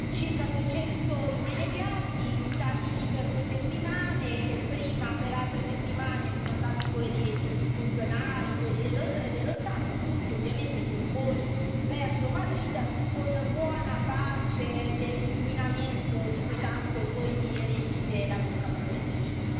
Circa 200 i delegati, stati lì per due settimane, prima per altre settimane sono andati i funzionari, quelli dello staff, tutti ovviamente con voli verso Madrid, con buona pace dell'inquinamento di cui tanto voi vi riempite la bocca, probabilmente lì